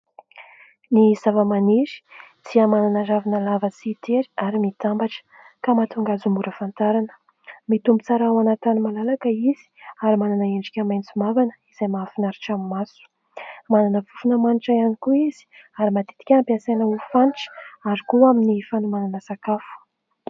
Ny zavamaniry izay manana ravina lava sy tery ary mitambatra ka mahatonga azy mora fantarina mitombo tsara ao anaty tany malalaka izy ary manana endrika maitso mavana izay mahafinaritra amin'ny maso manana fofona manitra ihany koa izy ary matetika ampiasaina ho hanitra ary koa amin'ny fanomanana sakafo